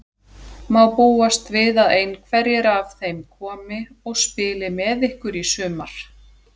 Má búast við að einhverjir af þeim komi og spili með ykkur í sumar?